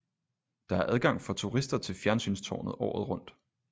Der er adgang for turister til fjernsynstårnet året rundt